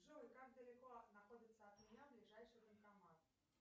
джой как далеко находится от меня ближайший банкомат